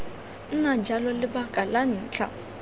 nna jalo lebaka la ntlha